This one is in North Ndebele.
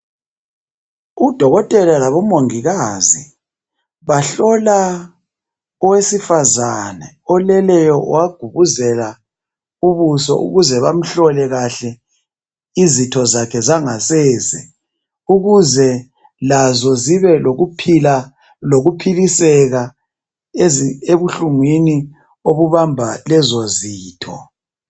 Udokotela labomongikazi bahlola owesifazane oleleyo wagubuzela ubuso ukuze bamhlole kahle izitho zakhe zangasese ukuze lazo zibe lokuphila lokhuphiliseka ebuhlungwini obubamba lezo zitho.